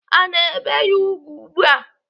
Ana ebe ya ùgwù ugbu a.